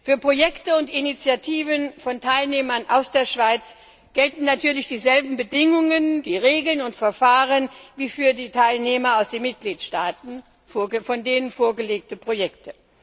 Für Projekte und Initiativen von Teilnehmern aus der Schweiz gelten natürlich dieselben Bedingungen, Regeln und Verfahren wie für Teilnehmer aus den Mitgliedstaaten und die von ihnen vorgelegten Projekte.